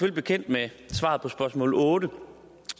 er bekendt med svaret på spørgsmål otte